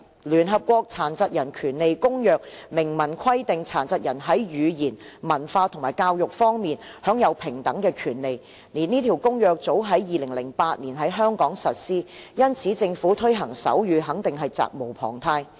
聯合國《殘疾人權利公約》明文規定，殘疾人在言語、文化和教育方面享有平等權利，這公約早在2008年在香港實施，因此政府推動手語肯定是責無旁貸的。